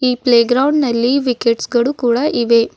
Play ground ನಲ್ಲಿ wickets ಗಳು ಕೂಡ ಇವೆ.